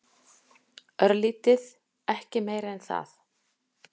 Örlítið, ekki meira en það.